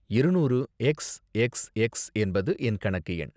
இருநூறு x x x என்பது என் கணக்கு எண்.